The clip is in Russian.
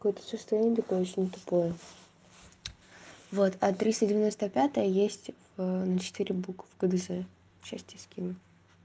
какое-то состояние такое очень тупое вот а триста девяносто пять есть в на четыре буквы гдз сейчас тебе скину